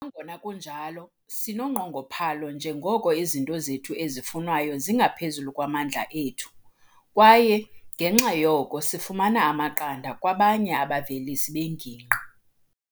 "Nangona kunjalo, sinonqongophalo njengoko izinto zethu ezifunwayo zingaphezulu kwamandla ethu, kwaye, ngenxa yoko, sifumana amaqanda kwabanye abavelisi bengingqi."